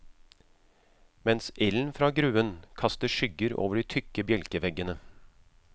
Mens ilden fra gruen kaster skygger over de tykke bjelkeveggene.